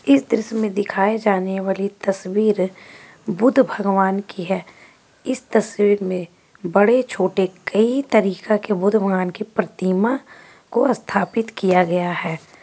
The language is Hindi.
इस दृश्य मे दिखाई जाने वाली तस्वीरबुद्ध भगवान की हैं इस तस्वीर मे बड़े छोटे कई तरीका के प्रतीमा को स्थापित किया गया हैं।